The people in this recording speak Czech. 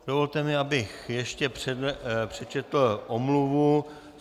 Dovolte mi, abych ještě přečetl omluvu.